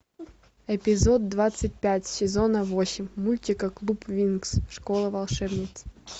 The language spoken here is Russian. эпизод двадцать пять сезона восемь мультика клуб винкс школа волшебниц